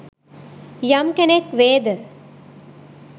යම් කෙනෙක් වේද